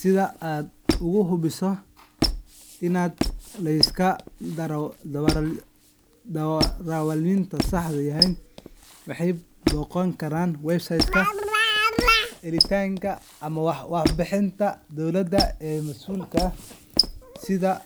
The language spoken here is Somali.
Sidha aad ugu hubiso inuu laysanka darawalnimada sax yahay, waxaad booqan kartaa website-ka hay’adda ama waaxda dowladda ee mas’uulka ka ah